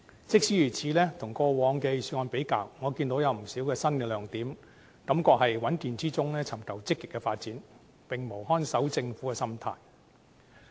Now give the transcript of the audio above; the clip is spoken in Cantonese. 即使如此，跟過往的預算案比較，我看到有不少新亮點，感覺是在穩健之中尋求積極的發展，並無看守政府的心態。